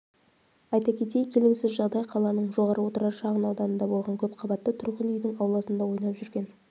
айта кетейік келеңсіз жағдай қаланың жоғары отырар шағын ауданында болған көпқабатты тұрғын үйдің ауласында ойнап жүрген